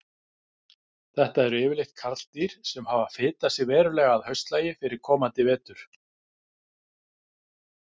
Þetta eru yfirleitt karldýr sem hafa fitað sig verulega að haustlagi fyrir komandi vetur.